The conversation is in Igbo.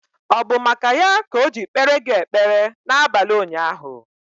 Ọ bụ maka ya ka o ji kpere gị ekpere na abalị ụnyaahụ?